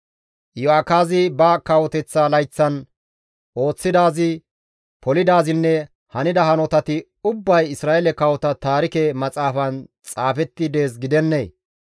Iyo7akaazi ba kawoteththa layththatan ooththidaazi, polidaazinne hanida hanotati ubbay Isra7eele kawota taarike maxaafan xaafetti dees gidennee?